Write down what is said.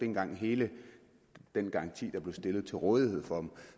engang hele den garanti der blev stillet til rådighed for dem